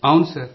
అవును సార్